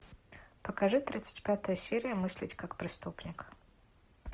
покажи тридцать пятая серия мыслить как преступник